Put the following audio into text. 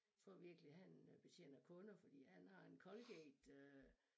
Tror virkelig han øh betjener kunder fordi han har en colgate øh